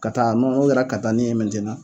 Ka taa nɔgɔ kɛrɛ katani ye mɛntenan